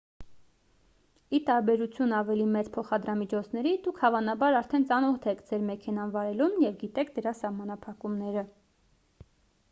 ի տարբերություն ավելի մեծ փոխադրամիջոցների դուք հավանաբար արդեն ծանոթ եք ձեր մեքենան վարելուն և գիտեք դրա սահմանափակումները